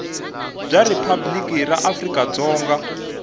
bya riphabliki ra afrika dzonga